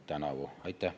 Aitäh!